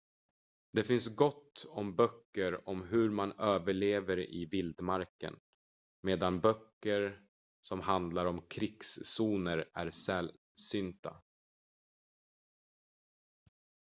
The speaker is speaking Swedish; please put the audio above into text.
det finns gott om böcker om hur man överlever i vildmarken medan böcker som handlar om krigszoner är sällsynta